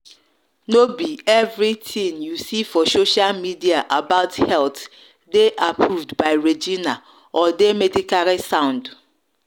no be everything you see for social media about health dey approved by regina or dey medically sound.